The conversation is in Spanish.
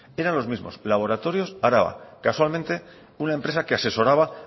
eran los mismos laboratorios araba casualmente una empresa que asesoraba